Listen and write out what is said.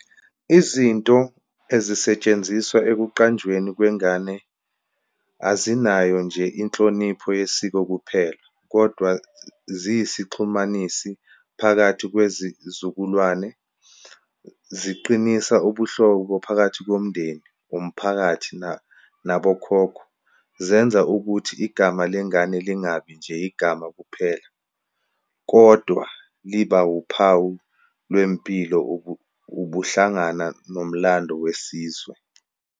Izinto ezisetshenziswa ekuqanjweni kwengane, azinayo nje inhlonipho yesiko kuphela kodwa ziyisixhumanisi phakathi kwezizukulwane, ziqinisa ubuhlobo phakathi komndeni, umphakathi nabokhokho. Zenza ukuthi igama lengane lingabi nje igama kuphela kodwa liba wuphawu lwempilo, ubuhlangana, nomlando wesizwe.